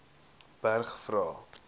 berg vra